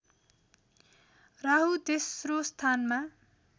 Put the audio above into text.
राहु तेस्रो स्थानमा